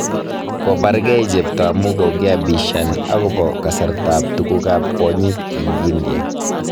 Kobargei chepto amu kogiabishan agobo kasartab tuguk ab kwonyik eng India